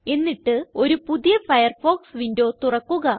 എന്നിട്ട് ഒരു പുതിയ ഫയർഫോക്സ് വിൻഡോ തുറക്കുക